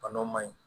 Bana ma ɲi